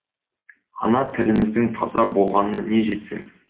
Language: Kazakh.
ана тіліміздің таза болғанына не жетсін